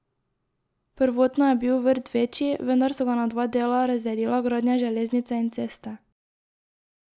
Prvotno je bil vrt večji, vendar so ga na dva dela razdelila gradnja železnice in ceste.